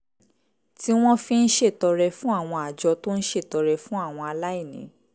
tí wọ́n fi ń ṣètọrẹ fún àwọn àjọ tó ń ṣètọrẹ fún àwọn aláìní